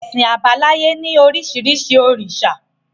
Ẹṣin àbáláyé ni orísirísi òrìṣà